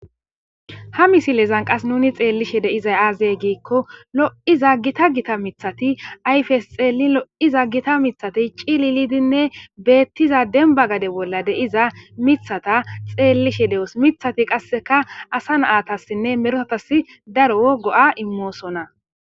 ha misilezan qas nuni xeellishe de7izay aaze giikko lo77iza gita gita mithati ayfes xeelli lo7iza gita mithati cililidinne beettiza dembba gade bolla de7iza mithata xeellishe de7os. Mithati qasseka asa naatassinne merotassi daro go7a immoosonna.